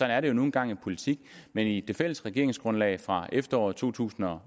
er det jo nu engang i politik men i det fælles regeringsgrundlag fra efteråret to tusind og